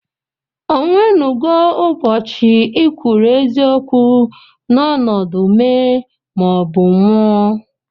Onwénugó ubochi ikwuru eziokwu n'ọnọdụ mèé ma ọ bụ nwụọ?